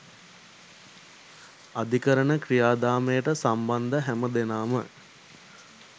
අධිකරණ ක්‍රියාදාමයට සම්බන්ධ හැම දෙනාම